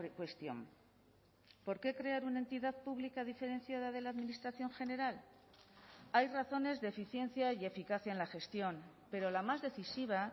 cuestión por qué crear una entidad pública diferenciada de la administración general hay razones de eficiencia y eficacia en la gestión pero la más decisiva